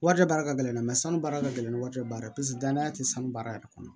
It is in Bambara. Warijɛ baara ka gɛlɛn dɛ sanu baara ka gɛlɛn ni waati yɛrɛ baara ye paseke danaya tɛ sanu baara yɛrɛ kɔnɔ